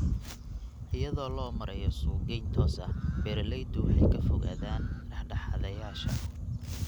Iyadoo loo marayo suuqgeyn toos ah, beeraleydu waxay ka fogaadaan dhexdhexaadiyeyaasha.